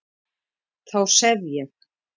Þá sef ég